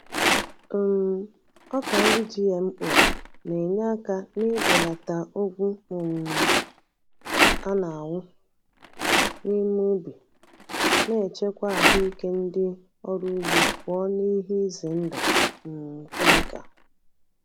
um Ọka nri GMO na-enye aka n'ibelata ogwu um a na-awụ n’ime ubi, na-echekwa ahụike ndị ọrụ ugbo pụọ n’ihe ize ndụ um kemikal.